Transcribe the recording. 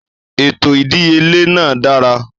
Ètò ìdíyelé náà dára.